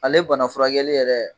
Ale bana furakɛli yɛrɛ